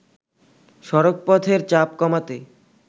সড়কপথের চাপ কমাতে